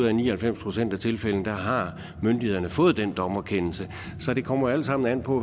at i ni og halvfems procent af tilfældene har myndighederne fået den dommerkendelse så det kommer alt sammen an på